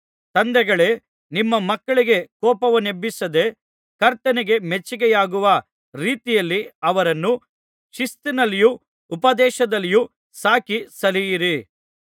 ತಂದೆಗಳೇ ನಿಮ್ಮ ಮಕ್ಕಳಿಗೆ ಕೋಪವನ್ನೆಬ್ಬಿಸದೆ ಕರ್ತನಿಗೆ ಮೆಚ್ಚಿಗೆಯಾಗುವ ರೀತಿಯಲ್ಲಿ ಅವರನ್ನು ಶಿಸ್ತಿನಲ್ಲಿಯೂ ಉಪದೇಶದಲ್ಲಿಯೂ ಸಾಕಿ ಸಲಹಿರಿ